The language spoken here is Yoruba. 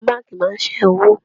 Àwọn báńkì máa ń sẹ́wó.